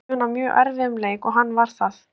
Ég átti von á mjög erfiðum leik og hann var það.